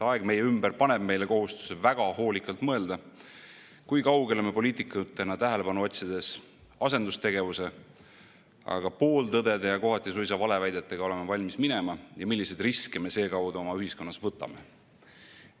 Aeg meie ümber paneb meile kohustuse väga hoolikalt mõelda, kui kaugele me poliitikutena tähelepanu otsides asendustegevuse ja pooltõdede, kohati suisa valeväidetega oleme valmis minema ja milliseid riske me seekaudu oma ühiskonnas võtame.